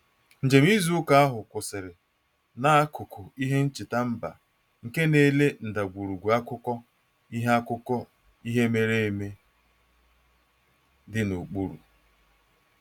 Njem izu ụka ahụ kwụsịrị n'akụkụ ihe ncheta mba nke na-ele ndagwurugwu akụkọ ihe akụkọ ihe mere eme dị n'okpuru